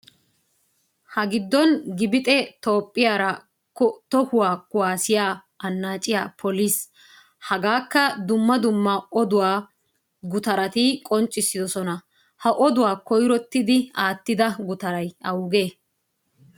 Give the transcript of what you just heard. Ha giddon gibxxee toophphiyaara tohuwaa kuwaassiya annaacciyaa poliis. Hagaakka dumma dumma oduwa gutarati qonccissosona. Ha oduwaa koyrottidi aattida gutaray awugee?